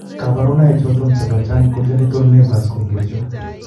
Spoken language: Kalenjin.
kabarunaik choton chebo Giant congenital nevus ko achon ?